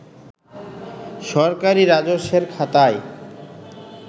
সরকারি রাজস্বের খাতায়